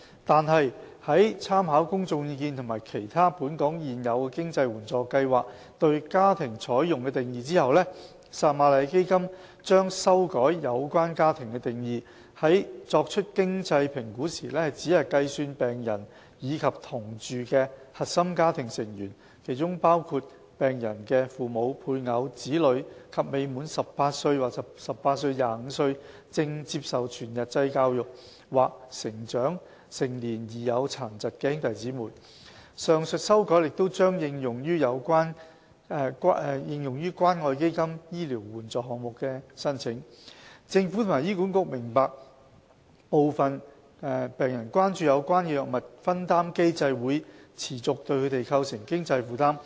然而，在參考公眾意見及其他本港現有的經濟援助計劃對"家庭"採用的定義後，撒瑪利亞基金將修改有關"家庭"的定義，在作經濟評估時只計算病人及同住的核心家庭成員。上述修改亦將應用於關愛基金醫療援助項目的申請。政府及醫管局明白部分病人關注有關的藥物分擔機制會持續對他們構成經濟負擔。